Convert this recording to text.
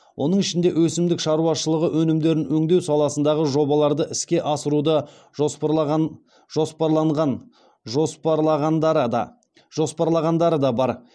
оның ішінде өсімдік шаруашылығы өнімдерін өңдеу саласындағы жобаларды іске асыруды жоспарлағандары да бар